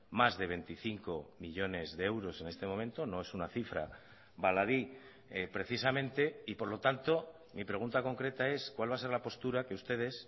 mas de veinticinco millónes de euros en este momento no es una cifra baladí precisamente y por lo tanto mi pregunta concreta es cuál va a ser la postura que ustedes